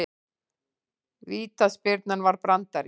Vítaspyrnan var brandari